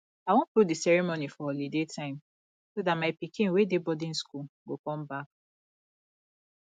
i wan put the ceremony for holiday time so dat my pikin wey dey boarding school go come back